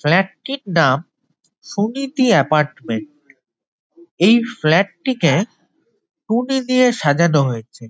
Flat টির নাম Suniti apartment এই ফ্ল্যাট টিকে টুনি দিয়ে সাজানো হয়েছে।